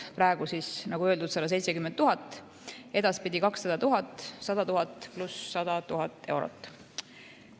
Praegu siis, nagu öeldud, 170 000, edaspidi 200 000, see tähendab 100 000 + 100 000 eurot.